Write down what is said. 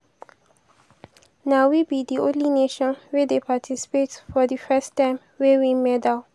na we be di only nation wey dey participate for di first time wey win medal.